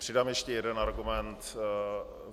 Přidám ještě jeden argument.